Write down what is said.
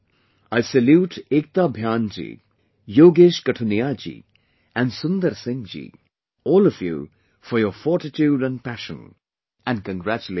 I salute Ekta Bhyanji, Yogesh Qathuniaji and Sundar Singh Ji, all of you for your fortitude and passion, and congratulate you